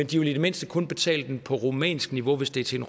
de i det mindste kun betaler den på rumænsk niveau hvis det er til